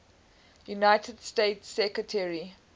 united states secretary